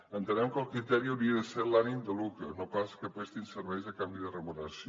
entenem que el criteri hauria de ser l’ànim de lucre no pas que prestin serveis a canvi de remuneració